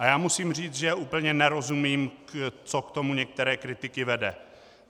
A já musím říct, že úplně nerozumím, co k tomu některé kritiky vede.